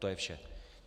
To je vše.